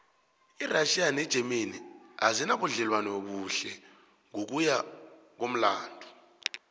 irassia negermany azinabudlelwano obuhle ngokuya ngokumlando